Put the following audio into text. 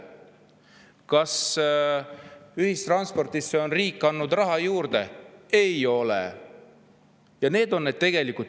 Kas ühistranspordile on riik raha juurde andnud?